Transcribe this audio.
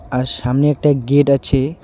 আর সামনে একটা গেট আছে.